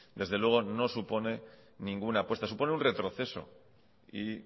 desde luego no supone ninguna apuesta supone un retroceso y